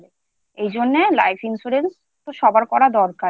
এজন্যে Life Insurance সবার করা দরকার